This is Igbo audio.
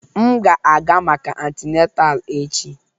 M ga-aga maka antineta echi